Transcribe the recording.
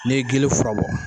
N'i ye gele fura bɔ.